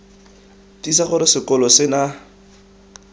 tiisa gore sekolo se na